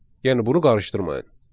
Yəni bunu qarışdırmayın.